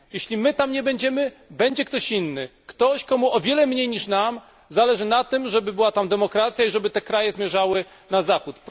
Jeśli nas tam nie będzie, będzie ktoś inny. Ktoś, komu o wiele mniej niż nam zależy na tym, żeby tam panowała demokracja i żeby kraje te zmierzały na Zachód.